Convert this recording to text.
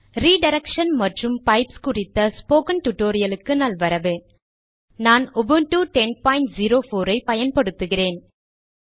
redirection மற்றும் pipes குறித்த spoken டுடோரியலுக்கு நல்வரவு நான் உபுண்டு 1004 ஐ பயன்படுத்துகிறேன்